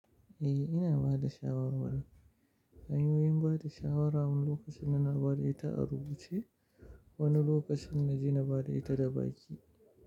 Eh ina bada shawarwarin. Hanyoyin bada shawara wani lokacin ina bada ita a rubuce, wani lokacin na je na bada ita da baki.